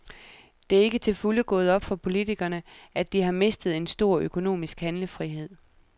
Det er ikke til fulde gået op for politikerne, at de har mistet en stor økonomisk handlefrihed.